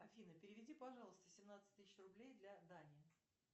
афина переведи пожалуйста семнадцать тысяч рублей для дани